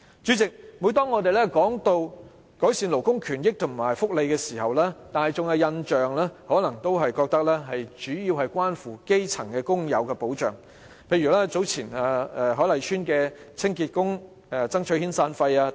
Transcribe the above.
主席，每當我們談及改善勞工權益和福利時，市民可能認為主要只關乎基層工友的保障，例如早前海麗邨清潔工人爭取遣散費等。